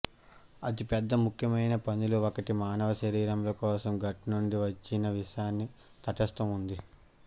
అతి ముఖ్యమైన పనులు ఒకటి మానవ శరీరం కోసం గట్ నుండి వచ్చిన విషాన్ని తటస్తం ఉంది